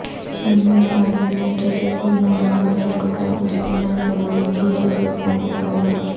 ممبر parliament Shafiq ur-Rahman Barq کا اجتماعی نماز کی اجازت کا مطالبہ